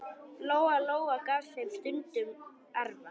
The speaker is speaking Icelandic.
Lóa-Lóa gaf þeim stundum arfa.